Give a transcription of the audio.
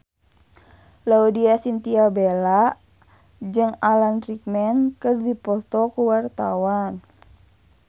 Laudya Chintya Bella jeung Alan Rickman keur dipoto ku wartawan